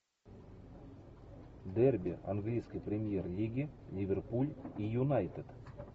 дерби английской премьер лиги ливерпуль и юнайтед